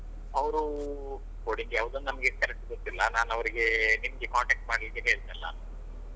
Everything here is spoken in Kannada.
ಅವ್ರು coding ಯಾವ್ದ್ ಅಂತ ನಮ್ಗೆ correct ಗೊತ್ತಿಲ್ಲ ನಾನು ಅವ್ರಿಗೆ ನಿಮ್ಗೆ contact ಮಾಡ್ಲಿಕೆ ಹೇಳ್ತೇನ್ ನಾನು.